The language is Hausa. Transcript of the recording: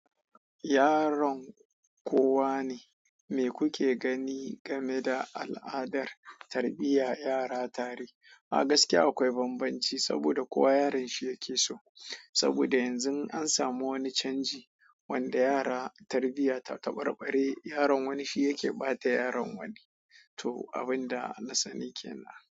Yaron kowa ne? Me kuke gani game da al'adar tarbiyyar yara tare? A gaskiya akwai banbanci saboda kowa yaran shi yake so saboda yanzu an samu wani canji wanda yara tarbiyyata ta ɓare ɓare, yaron wani shi yake ɓata yaron wani. To, abin da na sani kenan.